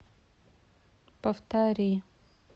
повтори